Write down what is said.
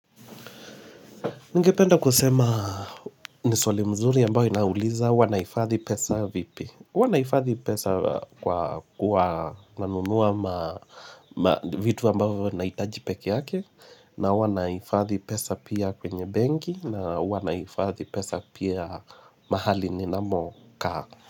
Ningependa kusema ni swali mzuri ambayo inauliza huwa naifadhi pesa vipi. Huwa naifadhi pesa kwa kuwa nanunua vitu ambapo nahitaji pekeyake na huwa naifadhi pesa pia kwenye benki na huwa naifadhi pesa pia mahali ninamo kaa.